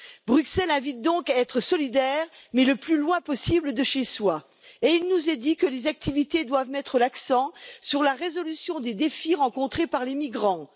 Bruxelles invite donc à être solidaire, mais le plus loin possible de chez soi, et il nous est dit que les activités doivent mettre l'accent sur la résolution des défis rencontrés par les migrants.